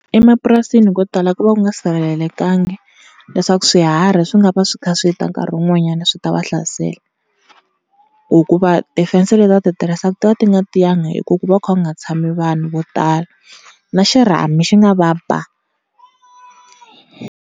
Emapurasini ko tala ku va ku nga sirhelelekangiki leswaku swiharhi swi nga va swi kha swi ta nkarhi wun'wanyana swi ta va hlasela. tifense leti va ti tirhisaku ti va ti nga tiyanga hikuva ku va ku kha ku nga tshami vanhu vo tala na xirhami xi nga va ba.